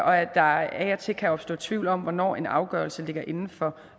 og at der af og til kan opstå tvivl om hvornår en afgørelse ligger inden for